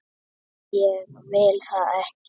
En ég vil það ekki.